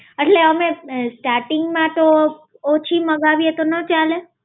એટલે અમે starting માં તો ઓછી મંગાવીએ તો ના ચાલે?